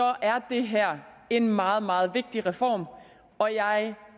er det her en meget meget vigtig reform og jeg